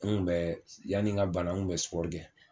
N ŋun bɛɛ s yani ŋa bana n ŋun bɛ kɛ.